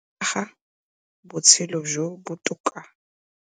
Go aga botshelo jo bo botoka.